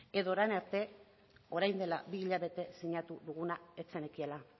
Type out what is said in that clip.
edo orain arte orain de la bi hilabete sinatu duguna ez zenekiela